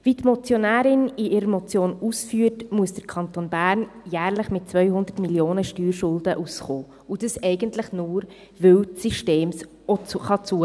Wie die Motionärin in ihrer Motion ausführt, muss der Kanton Bern jährlich mit 200 Mio. Franken Steuerschulden klarkommen, und dies eigentlich nur, weil das System dies zulässt.